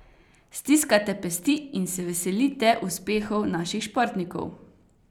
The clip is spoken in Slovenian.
Stiskate pesti in se veselite uspehov naših športnikov?